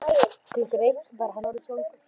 Klukkan eitt var hann orðinn svangur.